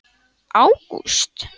Gunnar: Ágúst?